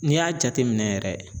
N'i y'a jateminɛ yɛrɛ